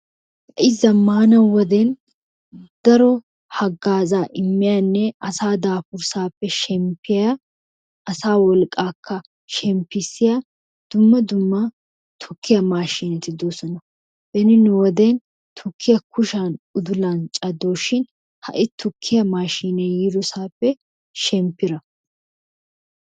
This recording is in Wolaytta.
Ha"i zammaana woden daro haggaazaa immiyanne asaa daafurssaappe shemppiya asaa wolqqaakka shemppissiya dumma dumma tukkiya maashineti de'oosona. Beni nu wode tukkiya kushiyan udulan caddooshin ha"i tukkiya maashiinee yiirosappe shemppira.